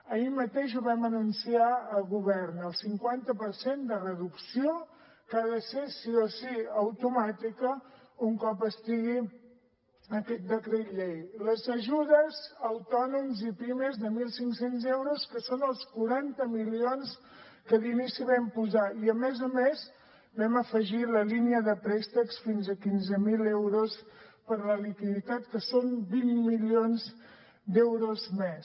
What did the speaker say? ahir mateix ho vam anunciar al govern el cinquanta per cent de reducció que ha de ser sí o sí automàtica un cop estigui aquest decret llei les ajudes a autònoms i pimes de mil cinc cents euros que són els quaranta milions que d’inici vam posar i a més a més vam afegir la línia de préstecs fins a quinze mil euros per a la liquiditat que són vint milions d’euros més